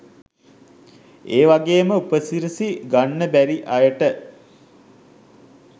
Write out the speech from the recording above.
ඒවගේම උපසිරසි ගන්න බැරි අයට